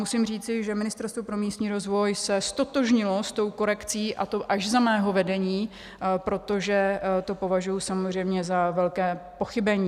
Musím říci, že Ministerstvo pro místní rozvoj se ztotožnilo s touto korekcí, a to až za mého vedení, protože to považuji samozřejmě za velké pochybení.